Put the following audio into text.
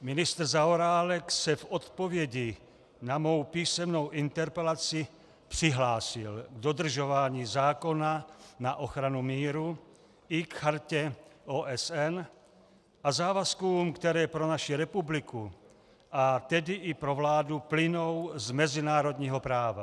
Ministr Zaorálek se v odpovědi na mou písemnou interpelaci přihlásil k dodržování zákona na ochranu míru i k Chartě OSN a závazkům, které pro naši republiku, a tedy i pro vládu plynou z mezinárodního práva.